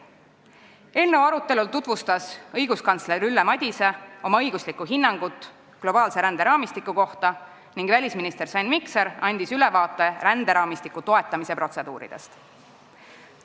Eelnõu arutelul tutvustas õiguskantsler Ülle Madise oma õiguslikku hinnangut globaalse ränderaamistiku kohta ning välisminister Sven Mikser andis ülevaate ränderaamistiku toetamise protseduuridest.